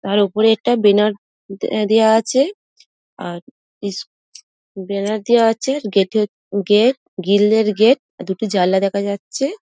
তার উপরে একটা বেনার দে দেওয়া আছে | আর ইস বেনার দেওয়া আছে গেট -এ গিল -এর গেট দুটি জানলা দেখা যাচ্ছে।